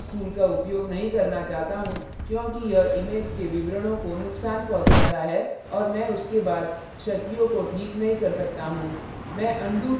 मैं curves tool का उपयोग नहीं करना चाहता हूँ क्योंकि यह image के विवरणों को नुकसान पहुंचाता है और मैं उसके बाद क्षतियों को ठीक नहीं कर सकता हूँ